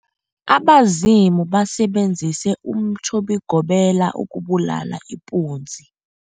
Abazumi basebenzise umtjhobigobela ukubulala ipunzi.